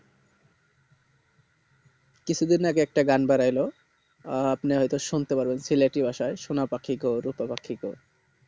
কিছু দিন আগে একটা গান বেরোয় ছিলো আপনি হয় তো শুনতে পারেন সিলহাটি ভাষায় সোনা পাখি গো রুপো পাখি গো